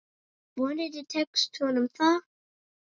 Vonandi tekst honum það.